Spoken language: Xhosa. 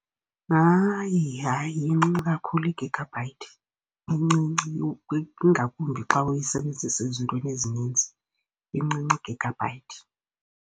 Hayi, hayi, incinci kakhulu i-gigabyte, incinci. Ingakumbi xa uyisebenzisa ezintweni ezininzi, incinci i-gigabyte.